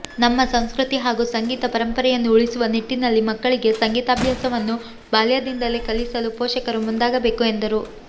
ನಮ್ಮ ಸಂಸ್ಕೃತಿ ಹಾಗೂ ಸಂಗೀತ ಪರಂಪರೆಯನ್ನು ಉಳಿಸುವ ನಿಟ್ಟಿನಲ್ಲಿ ಮಕ್ಕಳಿಗೆ ಸಂಗೀತಾಭ್ಯಾಸವನ್ನು ಬಾಲ್ಯದಿಂದಲೇ ಕಲಿಸಲು ಪೋಷಕರು ಮುಂದಾಗಬೇಕು ಎಂದರು